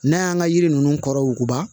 N'an y'an ka yiri ninnu kɔrɔ wuguba